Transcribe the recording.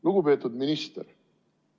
Lugupeetud minister!